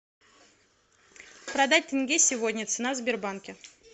продать тенге сегодня цена в сбербанке